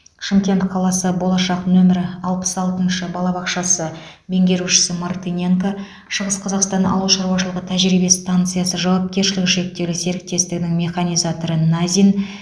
шымкент қаласы болашақ нөмірі алпыс алтыншы балабақшасы меңгерушісі мартыненко шығыс қазақстан ауыл шаруашылық тәжірибе станциясы жауапкершілігі шектеулі серіктестігінің механизаторы назин